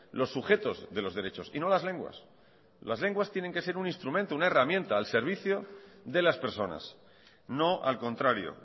los sujetos de los derechos y no las lenguas las lenguas tienen que ser un instrumento una herramienta al servicio de las personas no al contrario